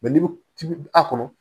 n'i bɛ tibi a kɔnɔ